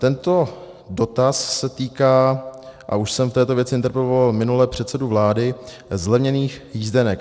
Tento dotaz se týká, a už jsem v této věci interpeloval minule předsedu vlády, zlevněných jízdenek.